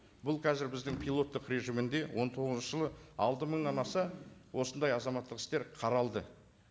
бұл қазір біздің пилоттық режимінде он тоғызыншы жылы алты мыңнан аса осындай азаматтық істер қаралды